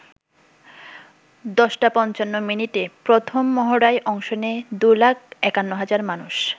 ১০ টা ৫৫ মিনিটে প্রথম মহড়ায় অংশ নেয় ২ লাখ ৫১ হাজার মানুষ।